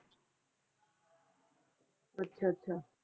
ਆਹ ਆਹ